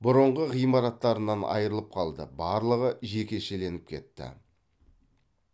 бұрынғы ғимараттарынан айрылып қалды барлығы жекешеленіп кетті